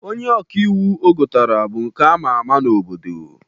Onye ọka iwu o gotara bụ nke ama ama n'obodo.